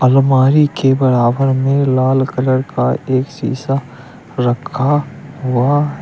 अलमारी के बराबर में लाल कलर का एक शीशा रखा हुआ है।